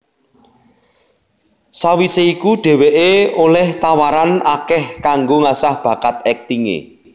Sawisé iku dheweké olih tawaran akeh kanggo ngasah bakat aktingé